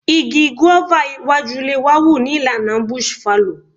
Igi guava iwájú ilé wa wù ní ìlànà bush fallow.